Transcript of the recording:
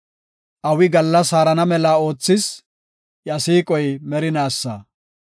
Awi gallas haarana mela oothis; iya siiqoy merinaasa.